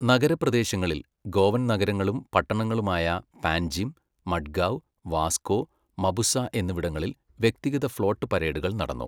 നഗരപ്രദേശങ്ങളിൽ, ഗോവൻ നഗരങ്ങളും പട്ടണങ്ങളുമായ പാൻജിം, മഡ്ഗാവ്, വാസ്കോ, മപുസ എന്നിവിടങ്ങളിൽ വ്യക്തിഗത ഫ്ലോട്ട് പരേഡുകൾ നടന്നു.